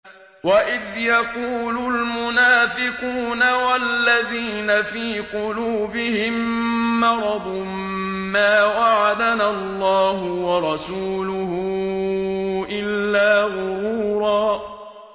وَإِذْ يَقُولُ الْمُنَافِقُونَ وَالَّذِينَ فِي قُلُوبِهِم مَّرَضٌ مَّا وَعَدَنَا اللَّهُ وَرَسُولُهُ إِلَّا غُرُورًا